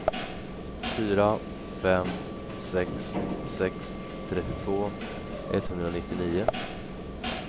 fyra fem sex sex trettiotvå etthundranittionio